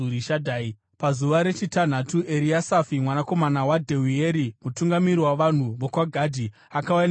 Pazuva rechitanhatu, Eriasafi mwanakomana waDheueri, mutungamiri wavanhu vokwaGadhi, akauya nechipiriso chake.